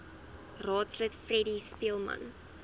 raadslid freddie speelman